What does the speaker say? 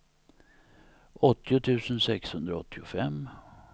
åttio tusen sexhundraåttiofem